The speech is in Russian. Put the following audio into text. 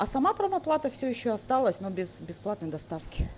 а сама пром-оплата всё ещё осталась но без бесплатной доставки